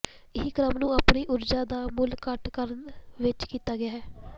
ਇਹ ਕ੍ਰਮ ਨੂੰ ਆਪਣੀ ਊਰਜਾ ਦਾ ਮੁੱਲ ਘੱਟ ਕਰਨ ਵਿੱਚ ਕੀਤਾ ਗਿਆ ਹੈ